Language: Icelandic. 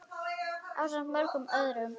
ásamt mörgum öðrum.